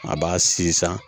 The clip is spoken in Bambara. A b'a sin san